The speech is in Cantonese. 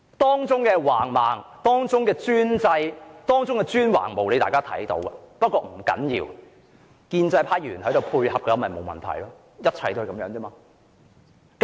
當中的橫蠻、專制、專橫無理，大家有目共睹，可是不要緊，只要建制派議員配合便沒有問題，一切就是如此而已。